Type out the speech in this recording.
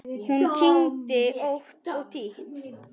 Hún kyngdi ótt og títt.